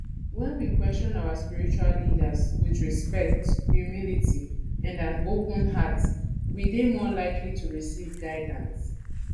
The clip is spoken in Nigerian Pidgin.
when we question our spiritual leaders with respect humility and an open heart we dey more likely to recieve guildance